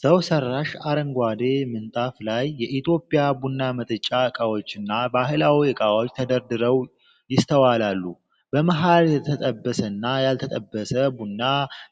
ሰው ሠራሽ አረንጓዴ ምንጣፍ ላይ፣ የኢትዮጵያ ቡና መጠጫ ዕቃዎችና ባህላዊ እቃዎች ተደርድረው ይስተዋላሉ። በመሀል የተጠበሰና ያልተጠበሰ ቡና